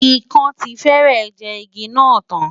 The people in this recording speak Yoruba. Ikán ti fẹ́rẹ̀ jẹ igi náà tán.